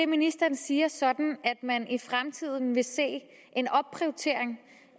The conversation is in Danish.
ministeren siger sådan at man i fremtiden vil se en opprioritering